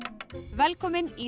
velkomin í